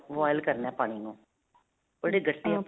boil ਕਰਨਾ ਪਾਣੀ ਨੂੰ ਉਹ ਜਿਹੜੇ ਗੱਟੇ.